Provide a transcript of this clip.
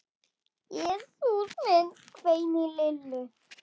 Jesús minn hvein í Lillu.